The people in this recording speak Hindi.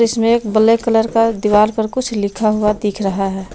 इसमे एक ब्लैक कलर का दीवार पर कुछ लिखा हुआ दिख रहा है।